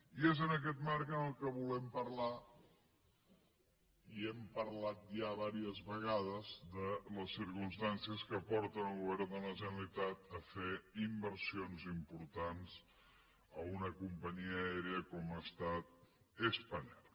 i és en aquest marc que volem parlar i hem parlat ja diverses vegades de les circumstàncies que porten el govern de la generalitat a fer inversions importants en una companyia aèria com ha estat spanair